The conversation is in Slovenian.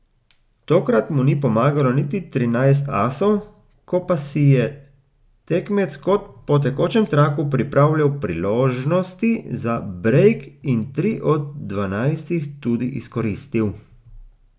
Tokrat mu ni pomagalo niti trinajst asov, ko pa si je tekmec kot po tekočem traku pripravljal priložnosti za brejk in tri od dvanajstih tudi izkoristil.